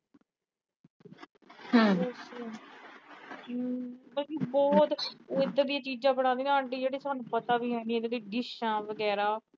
ਬਲਕਿ ਬਹੁਤ ਉਹ ਇਦਾਂ ਦੀਆਂ ਚੀਜਾਂ ਬਣਾਉਂਦੀ ਨਾ ਆਂਟੀ ਜਿਹੜਾ ਸਾਨੂੰ ਪਤਾ ਵੀ ਹੈਨੀ, ਡਿਸ਼ਾ ਵਗੈਰਾ